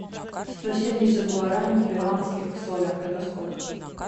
сто семьдесят гуараней в перуанских солях это сколько